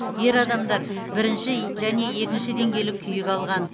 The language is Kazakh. ер адамдар бірінші және екінші деңгейлі күйік алған